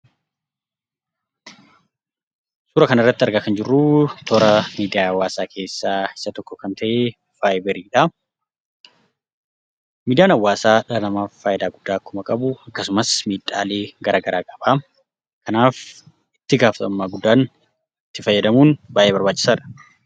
Suuraa kanarratti argaa kan jirru, toora miidiyaa hawaasaa keesaa isa tokko kan ta'e, vaayiberiidha. Miidiyaan hawaasaa dhala namaaf fayidaa guddaa akkuma qabu, akkasumas miidhaalee gara garaa qaba. Kanaaf itti gaafatamummaa guddaan itti fayyadamuun baayyee barbaachisaadha.